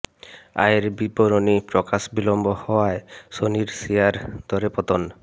আয়ের বিবরণী প্রকাশ বিলম্ব হওয়ায় সনির শেয়ার দরে পতন